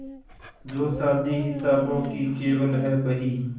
जो शादी हिसाबों की केवल है बही